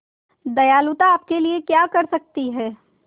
दयालुता आपके लिए क्या कर सकती है